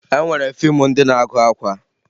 E nwere fiimu ndị na-agụ akwa